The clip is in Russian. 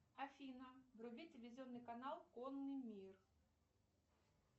афина вруби телевизионный канал конный мир